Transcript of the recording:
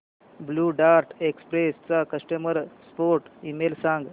blue Dart Express चा customer support email सांग